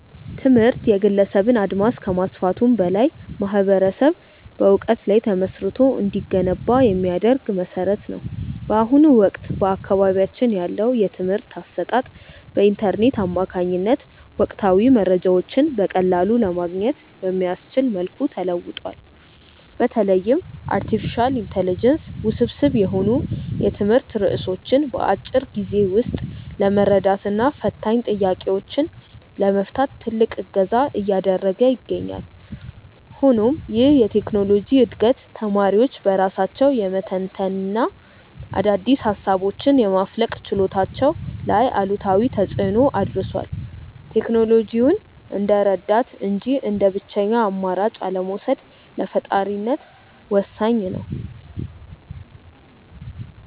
ትምህርት የግለሰብን አድማስ ከማስፋቱም በላይ ማኅበረሰብ በዕውቀት ላይ ተመስርቶ እንዲገነባ የሚያደርግ መሠረት ነው። በአሁኑ ወቅት በአካባቢያችን ያለው የትምህርት አሰጣጥ በኢንተርኔት አማካኝነት ወቅታዊ መረጃዎችን በቀላሉ ለማግኘት በሚያስችል መልኩ ተለውጧል። በተለይም አርቲፊሻል ኢንተለጀንስ ውስብስብ የሆኑ የትምህርት ርዕሶችን በአጭር ጊዜ ውስጥ ለመረዳትና ፈታኝ ጥያቄዎችን ለመፍታት ትልቅ እገዛ እያደረገ ይገኛል። ሆኖም ይህ የቴክኖሎጂ ዕድገት ተማሪዎች በራሳቸው የመተንተንና አዳዲስ ሃሳቦችን የማፍለቅ ችሎታቸው ላይ አሉታዊ ተፅእኖ አድርሷል። ቴክኖሎጂውን እንደ ረዳት እንጂ እንደ ብቸኛ አማራጭ አለመውሰድ ለፈጣሪነት ወሳኝ ነው።